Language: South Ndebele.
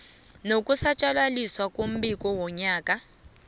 nokusatjalaliswa kombiko wonyaka